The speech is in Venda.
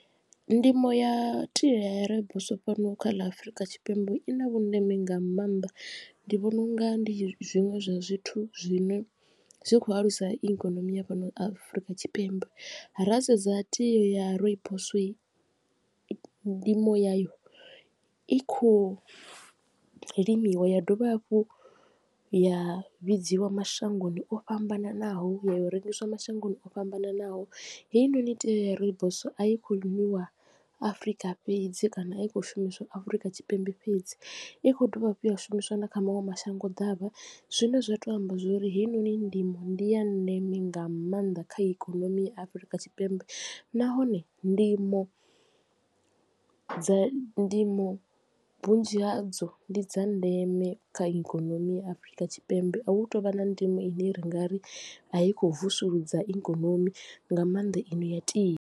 Ndimo ya tie ya rooibos fhano kha ḽa Afurika Tshipembe i na vhundeme nga maanḓa ndi vhona unga ndi zwiṅwe zwa zwithu zwino zwi kho alusa ikonomi ya fhano Afurika Tshipembe. Ra sedza tie ya rooibos ndimo ya yo i khou limiwa ya dovha hafhu ya vhidziwa mashangoni o fhambananaho ya yo rengiswa mashangoni o fhambananaho. Heinoni tea ya rooibos a i kho nwiwa afurika fhedzi kana a i kho shumiswa Afurika Tshipembe fhedzi i kho dovha hafhu ya shumiswa na kha maṅwe mashango ḓavha zwine zwa to amba zwori heyi noni ndimo ndi ya ndeme nga maanḓa kha ikonomi ya Afurika Tshipembe. Nahone ndimo dza ndimo vhunzhi hadzo ndi dza ndeme kha ikonomi ya Afurika Tshipembe a hu tovha na ndimo ine ri nga ri a yi khou vusuludza i ikonomi nga mannḓa ino ya tea.